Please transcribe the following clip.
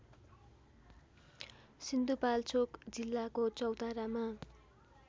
सिन्धुपाल्चोक जिल्लाको चौतारामा